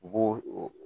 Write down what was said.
U b'o o